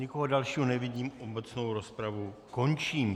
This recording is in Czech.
Nikoho dalšího nevidím, obecnou rozpravu končím.